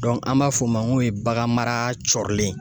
an b'a fɔ o ma ko bagan mara cɔrilen ye